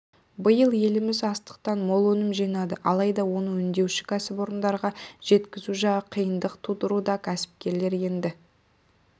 биыл еліміз астықтан мол өнім жинады алайда оны өңдеуші кәсіпорынға жеткізу жағы қиындық тудыруда кәсіпкерлер енді